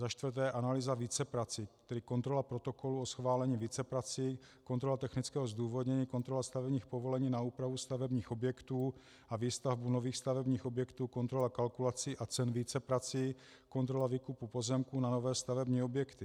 Za čtvrté analýza víceprací, tedy kontrola protokolů o schválení víceprací, kontrola technického zdůvodnění, kontrola stavebních povolení na úpravu stavebních objektů a výstavbu nových stavebních objektů, kontrola kalkulací a cen víceprací, kontrola výkupů pozemků na nové stavební objekty.